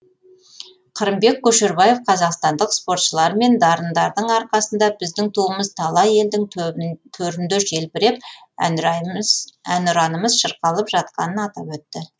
қырымбек көшербаев қазақстандық спортшылар мен дарындардың арқасында біздің туымыз талай елдің төрінде желбіреп әнұранымыз шырқалып жатқанын атап өтті